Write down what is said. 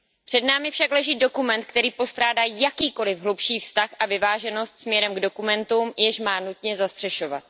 Před námi však leží dokument, který postrádá jakýkoli hlubší vztah a vyváženost směrem k dokumentům, jež má nutně zastřešovat.